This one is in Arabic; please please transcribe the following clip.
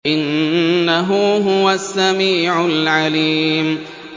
إِنَّهُ هُوَ السَّمِيعُ الْعَلِيمُ